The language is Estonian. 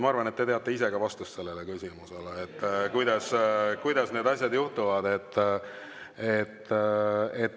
Ma arvan, et te teate ise ka vastust küsimusele, kuidas need asjad juhtuvad.